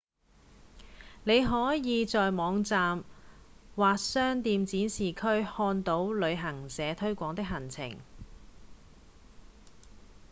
你可以在網站或商店展示區看到旅行社推廣的行程